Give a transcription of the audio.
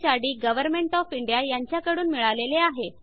D government of India यांच्याकडून मिळालेले आहे